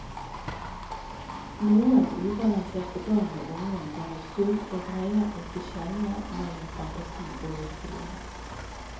Noen ubalanserte barn og unge går i surr og greier ikke skjelne mellom fantasi og virkelighet.